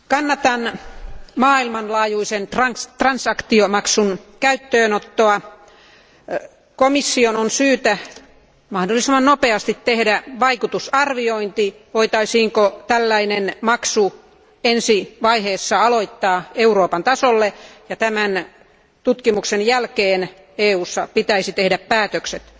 Arvoisa puhemies, kannatan maailmanlaajuisen transaktiomaksun käyttöönottoa. Komission on syytä tehdä mahdollisimman nopeasti vaikutustenarviointi, voitaisiinko tällainen maksu ensi vaiheessa aloittaa Euroopan tasolla, ja tämän tutkimuksen jälkeen EUssa pitäisi tehdä päätökset.